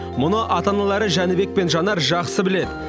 мұны ата аналары жәнібек пен жанар жақсы біледі